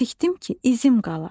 Tikdim ki, izim qala.